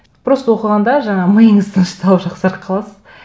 просто оқығанда жаңа миыңыз тынышталып жақсарып қаласыз